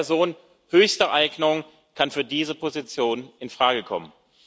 Nur eine Person höchster Eignung kann für diese Position infrage kommen.